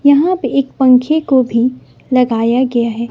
यहां पे एक पंखे को भी लगाया गया है।